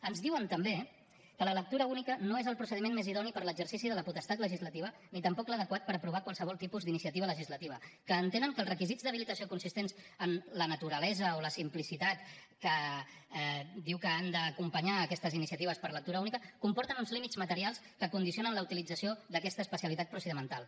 ens diuen també que la lectura única no és el procediment més idoni per a l’exercici de la potestat legislativa ni tampoc l’adequat per aprovar qualsevol tipus d’iniciativa legislativa que entenen que els requisits d’habilitació consistents en la naturalesa o la simplicitat que diu que han d’acompanyar aquestes iniciatives per lectura única comporten uns límits materials que condicionen la utilització d’aquesta especialitat procedimental